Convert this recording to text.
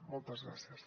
moltes gràcies